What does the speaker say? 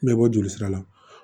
N bɛ bɔ jolisira la